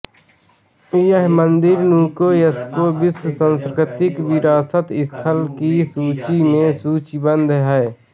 यह मंदिर यूनेस्को विश्व सांस्कृतिक विरासत स्थल की सूची में सूचीबद्ध है